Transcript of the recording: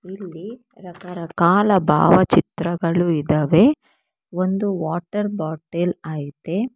ಇಲ್ಲಿ ಭಾವ ಚಿತ್ರಗಳು ಇದಾವೆ ಒಂದು ವಾಟರ್ ಬಾಟಲ್ ಇದೆ.